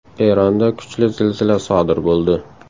Eronda kuchli zilzila sodir bo‘ldi.